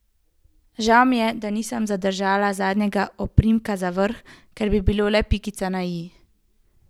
Žal mi je, da nisem zadržala zadnjega oprimka za vrh, kar bi bilo le pikica na i.